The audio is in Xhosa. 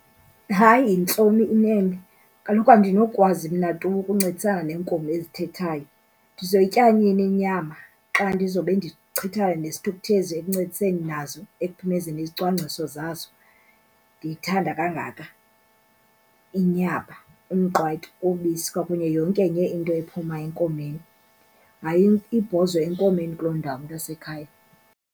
Hayi, yintloni, inene kaloku andinokwazi mna tu ukuncedisana neenkomo ezithethayo. Ndizoyitya nini inyama xa ndizawube ndichithana nesithukuthezi ekuncediseni nazo ekuphumezeni izicwangciso zazo? Ndiyithanda kangaka inyama, umqwayito, ubisi kwakunye yonke enye into ephuma enkomeni. Hayi, ibhozo enkomeni kuloo ndawo, mntasekhaya.